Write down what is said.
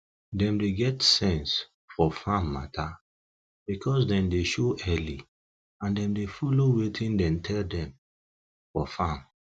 dem dey get sense fof farm matter because dem dey show early and dem dey follow wetin dem tell dem for farm